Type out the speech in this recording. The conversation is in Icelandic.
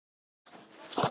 Við vorum svo náin.